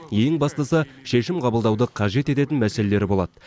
ең бастысы шешім қабылдауды қажет ететін мәселелер болады